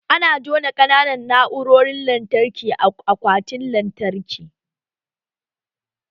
Ana juna ƙananan na'urorin lantarki a akwatin lantarki